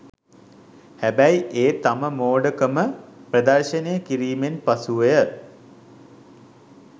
හැබැයි ඒ තම මෝඩ කම ප්‍රදර්ශනය කිරීමෙන් පසුවය.